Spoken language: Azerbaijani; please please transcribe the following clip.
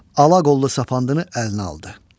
Ala qollu sapandını əlinə aldı.